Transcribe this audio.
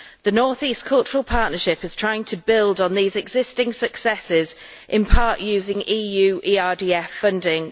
The Northeast Cultural Partnership is trying to build on these existing successes, in part using EU ERDF funding